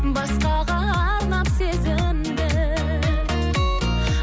басқаға арнап сезімді